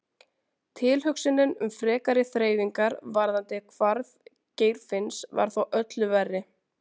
Tilhugsunin um frekari þreifingar varðandi hvarf Geirfinns var þó öllu verri.